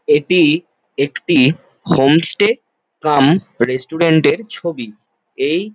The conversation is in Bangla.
''এটি-ই একটি হোম স্টে কাম রেস্টুরেন্ট -এর ছবি। এই--''